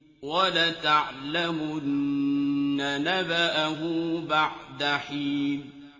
وَلَتَعْلَمُنَّ نَبَأَهُ بَعْدَ حِينٍ